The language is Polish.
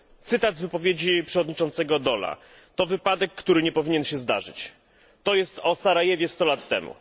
Cytat z wypowiedzi przewodniczącego Daula to wypadek, który nie powinien się zdarzyć, to jest o Sarajewie 100 lat temu.